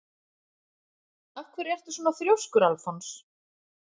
Af hverju ertu svona þrjóskur, Alfons?